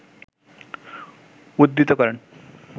উদ্ধৃত করেন